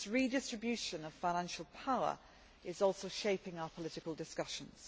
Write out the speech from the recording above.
This redistribution of financial power is also shaping our political discussions.